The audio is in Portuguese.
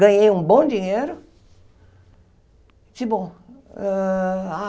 Ganhei um bom dinheiro. hã ah